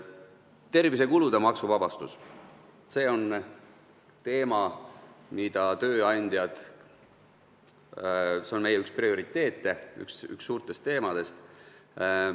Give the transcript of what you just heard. Tervisekulutuste maksuvabastus on üks tööandjate prioriteete, see on üks suurtest teemadest.